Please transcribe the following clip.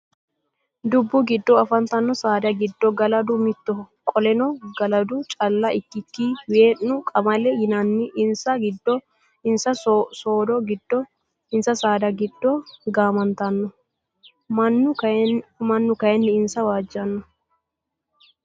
Dubbu giddo afantanno saada giddo galadu mittoho qoleno galadu calla ikkikki wee'nu, qamale yinanna insa siddo giddo gaamantanno. Mannu kayii insa waajjanno.